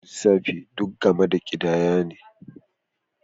Lissafi duk game da ƙidaya ne